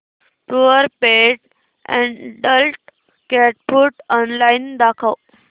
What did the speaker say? Purepet adult cat food online दाखव